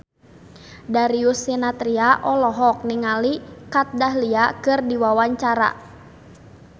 Darius Sinathrya olohok ningali Kat Dahlia keur diwawancara